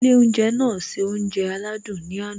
Ilé oúnjẹ náà se oúnjẹ aládùn ní àná